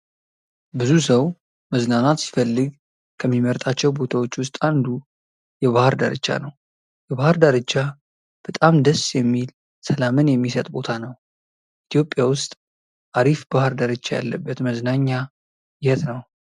ብዙ ሰው መዝናናት ሲፈልግ ከሚመርጣቸው ቦታዎች ውስጥ አንዱ የባህር ዳርቻ ነው። የባህር ዳርቻ በጣም ደስ የሚል ሰላምን የሚሰጥ ቦታ ነው። ኢትዮጵያ ውስጥ አሪፍ ባህር ዳርቻ ያለበት መዝናኛ የት ነው?